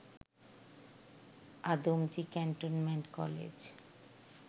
Adamjee cantonment college